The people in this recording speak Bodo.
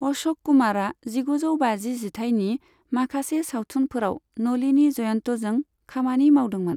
अश'क कुमारा जिगुजौ बाजि जिथाइनि माखासे सावथुनफोराव नलिनी जयन्तजों खामानि मावदोंमोन।